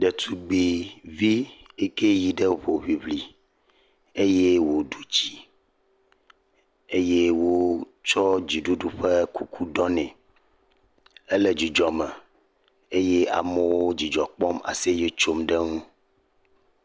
Ɖetugbuivi yi ke yi ɖe hoŋliŋli eye woɖu dzi eye wotsɔ dziɖuɖu ƒe kuku ɖɔ ne. Ele dzidzɔ me eye amewo dzidzɔ kpɔm le aseye tsom ɖe eŋu.